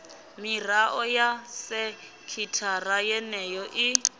mirao ya sekithara yeneyo i